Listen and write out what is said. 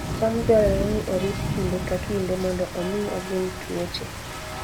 cham dwarore ni orit kinde ka kinde mondo omi ogeng' tuoche